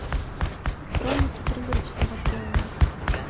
хроники призрачного племени